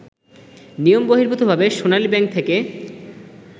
নিয়মবহির্ভূতভাবে Sonali bank থেকে